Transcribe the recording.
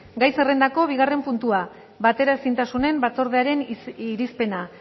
gai zerrendako bigarren puntua bateraezintasunen batzordearen irizpena